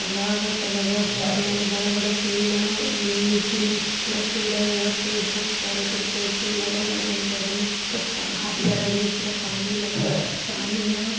तालाब ह तालाब वा के आरी बड़ा-बड़ा पेड़ है मीठी-मीठी पूरा पेड़ है पेड़ ह। चारों तरफ पेड़ है पड़े लगला है हरियल-हरियल पानी लागल पानी है।